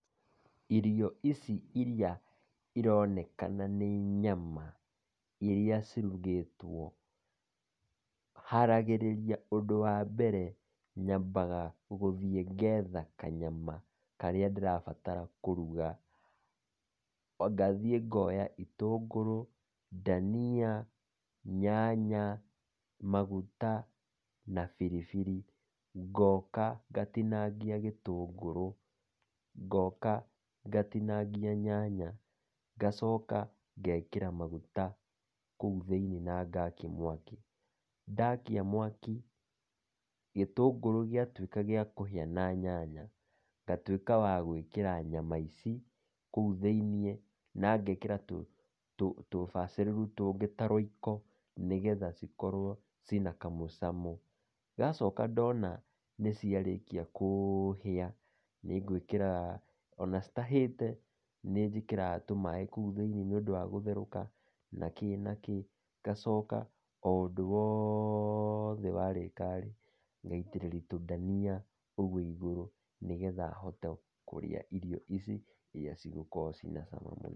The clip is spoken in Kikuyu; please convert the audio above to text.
Irio ici iria ironekana nĩ nyama iria cirugĩtwo, haragĩrĩria ũndũ wa mbere nyambaga ngathiĩ ngetha kanyama karĩa ndĩrabatara kũruga, ngathiĩ ngoya itũngũrũ, ndania, nyanya, maguta, na biribiri. Ngoka ngatinangia gĩtũngũrũ, ngoka ngatinangia nyanya, ngacoka ngekĩra maguta kũu thĩinĩ na ngakia mwaki, ndakia mwaki gĩtũngũrũ gĩa tuĩka gĩa kũhĩa na nyanya, ngatuĩka wa gwĩkĩra nyama ici kũu thĩinĩ na ngekĩra tũbacĩrĩru tũngĩ ta Royco, nĩgetha cikorwo ciĩ na kamũcamo, ndacoka ndona nĩciarĩkia kũhĩa nĩ ngwĩkĩra, ona citahĩte nĩ njĩkĩraga tũmaĩ kũu thĩinĩ nĩ ũndũ wa gũtherũka, nakĩ nakĩ, ngacoka o ũndũ wothe warĩka rĩ ngaitĩrĩria tũndania ũguo igũrũ nĩguo hote kũrĩa irio ici iria cikoragwo cirĩ na cama mũno.